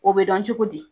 O bɛ dɔn cogo di